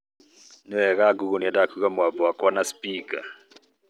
Nĩ wega Google nĩendaga kũigua mũgambo wakwa na spika